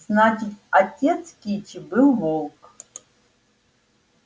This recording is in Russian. значит отец кичи был волк